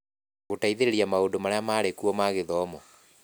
Gũteithĩrĩria maũndũ marĩa marĩ kuo ma gĩthomo.